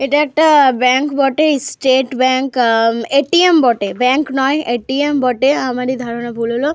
এটা একটা ব্যাংক বটে। স্টেট ব্যাংক আহ এ.টি.এম বটে। ব্যাংক নয় এ.টি.এম বটে। আমারি ধারণা ভুল হলো।